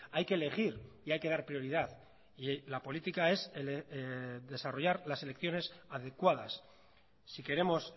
hay que elegir y hay que dar prioridad y la política es desarrollar las elecciones adecuadas si queremos